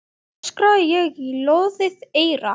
öskraði ég í loðið eyra.